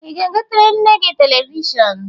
Ị ga-egotere nne gị telivishọn?